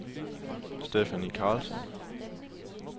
Stephanie Carlsson